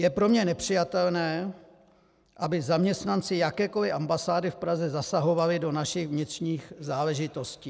Je pro mě nepřijatelné, aby zaměstnanci jakékoliv ambasády v Praze zasahovali do našich vnitřních záležitostí.